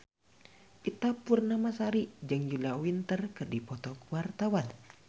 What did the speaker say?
Ita Purnamasari jeung Julia Winter keur dipoto ku wartawan